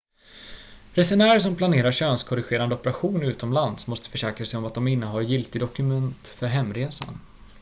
resenärer som planerar könskorrigerande operation utomlands måste försäkra sig om att de innehar giltiga dokument för hemresan